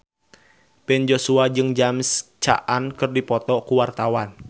Ben Joshua jeung James Caan keur dipoto ku wartawan